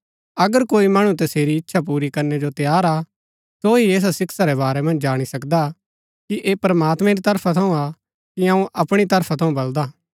अगर कोई मणु तसेरी इच्छा पूरी करनै जो तैयार हा सो ही ऐसा शिक्षा रै बारै मन्ज जाणी सकदा कि ऐह प्रमात्मैं री तरफा थऊँ हा कि अऊँ अपणी तरफा थऊँ बलदा